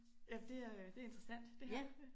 Ja der er øh det interessant det her